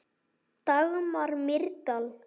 Dagmar Mýrdal.